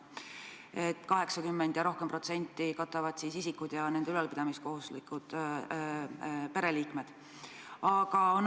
Vähemalt 80% katavad isikud ise ja nende ülalpidamiseks kohustatud pereliikmed.